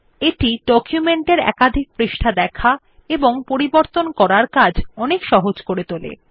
এটি ডকুমেন্ট এর একাধিক পৃষ্ঠা দেখা এবং পরিবর্তন করার কাজ অনেক সহজ করে তোলে